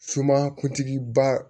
kuntigi ba